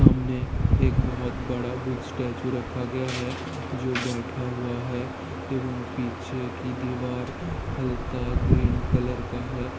सामने एक बहोत बड़ा बुद्ध स्टेचयू रखा गया है जो बैठा हुआ है एवं पीछे की दीवार हल्का ग्रीन कलर का है।